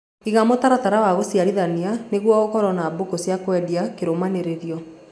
Iga mũtaratara wa gũshiarana nĩguo ũkorwo na mbũkũ cia kwendia kĩrũmanĩrĩrio